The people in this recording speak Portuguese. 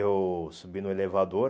Eu subi no elevador,